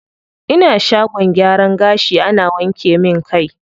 Ina shagon gyaran gashi ana wanke min kai.